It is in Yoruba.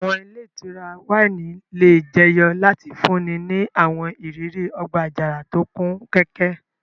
Àwọn ile itura wáìnì le jeyo lati funni ni àwọn iriri ọgba-ajara to kun kẹ́kẹ́.